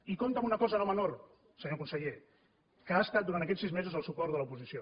i compta amb una cosa no menor senyor conseller que ha estat durant aquests sis mesos el suport de l’oposició